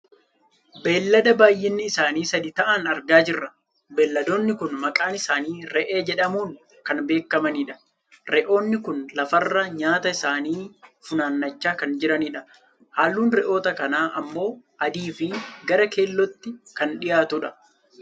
Beellada baayyinni isaanii sadi ta'an argaa jirra. Beelladoonni kun maqaan isaanii re'ee jedhamuun kan beekkamanidha. Re'oonni kun lafarraa nyaata isaanii funaannachaa kan jiranidha. Halluun re'oota kanaa ammoo adii, fi gara keellootti kan dhiyaatudha.